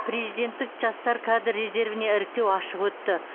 президенттік жастар кадр резервіне іріктеу ашық өтті